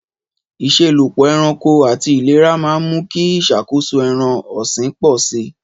Ìṣelọ́pọ̀ ẹranko àti ìlera máa ń mú kí ìṣàkóso ẹran ọ̀sìn pọ̀ sí i.